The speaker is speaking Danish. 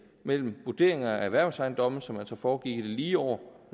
mellem vurderinger af erhvervsejendomme som altså foregik i de lige år